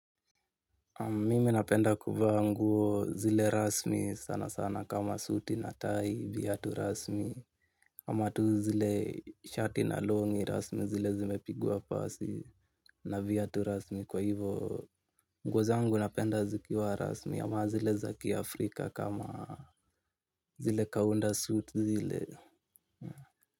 Mimi napenda kuvaa nguo zile rasmi sana sana kama suti na tai viatu rasmi. Kama tu zile shati na longi rasmi zile zimepigwa pasi na viatu rasmi. Kwa hivo nguo zangu napenda zikiwa rasmi ama zile za kiafrika kama zile kaunda suti zile.